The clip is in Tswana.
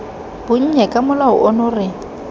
bonnye ka molao ono re